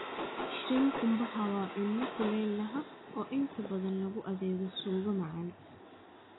Shrimp qumbaha waa cunno-cunno kulaylaha oo inta badan lagu adeego suugo macaan.